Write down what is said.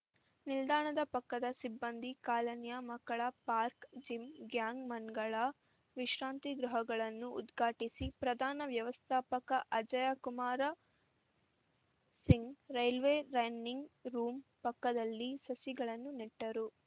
ನಿಲ್ದಾಣದ ಪಕ್ಕದ ಸಿಬ್ಬಂದಿ ಕಾಲನಿಯ ಮಕ್ಕಳ ಪಾರ್ಕ್ ಜಿಮ್‌ ಗ್ಯಾಂಗ್‌ ಮನ್‌ಗಳ ವಿಶ್ರಾಂತಿ ಗೃಹಗಳನ್ನು ಉದ್ಘಾಟಿಸಿ ಪ್ರಧಾನ ವ್ಯವಸ್ಥಾಪಕ Ajaykumar Singh railway running room ಪಕ್ಕದಲ್ಲಿ ಸಸಿಗಳನ್ನು ನೆಟ್ಟರು